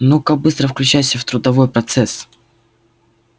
ну-ка быстро включайся в трудовой процесс